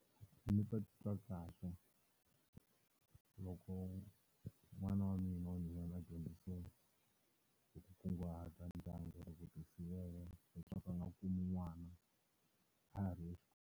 Ndzi ta titwa kahle loko n'wana wa mina wa nhwanyana a dyondzisiwa hi ku kunguhata ndyangu na ku ti sivela leswaku a nga kumi n'wana a ha ri .